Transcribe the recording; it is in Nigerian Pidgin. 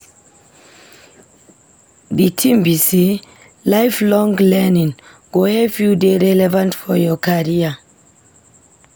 Di tin be sey lifelong learning go help you dey relevant for your career.